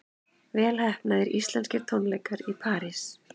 Vel heppnaðir íslenskir tónleikar í París